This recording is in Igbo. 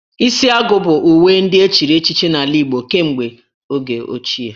Isi agu bụ uwe ndị echiri echichi n'ala Igbo kemgbe oge ochie